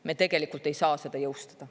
Me tegelikult ei saa seda jõustada.